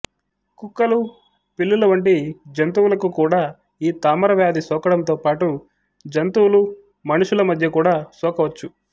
కుక్కలు పిల్లుల వంటి జంతువులకు కూడా ఈ తామరవ్యాధి సోకడంతోపాటు జంతువులు మనుషుల మధ్య కూడా సోకవచ్చు